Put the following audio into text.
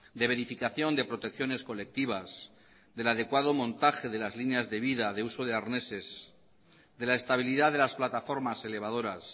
de verificación de protecciones colectivas del adecuado montaje de las líneas de vid de uso de arneses de la estabilidad de las plataformas elevadoras